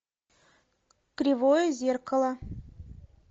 кривое зеркало